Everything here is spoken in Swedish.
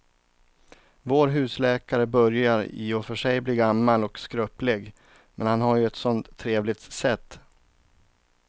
Vår husläkare börjar i och för sig bli gammal och skröplig, men han har ju ett sådant trevligt sätt!